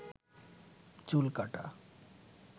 চুল কাটা